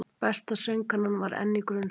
Besta söngkonan var enn í grunnskóla